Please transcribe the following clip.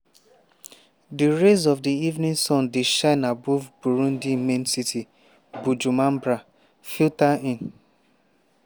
di rays of di evening sun dey shine above burundi main city bujumbura filter in.